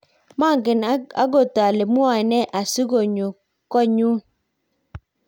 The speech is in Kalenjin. manget akot ale mwoe ne asikunyo koot nyu